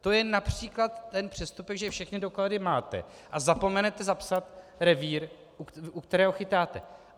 To je například ten přestupek, že všechny doklady máte a zapomenete zapsat revír, u kterého chytáte.